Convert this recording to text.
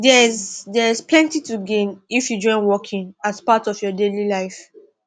theres theres plenty to gain if you join walking as part of your daily life